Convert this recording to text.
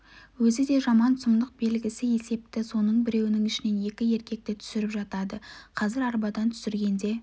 өзі де жаман сұмдық белгісі есепті соның біреуінің ішінен екі еркекті түсіріп жатады қазір арбадан түсіргенде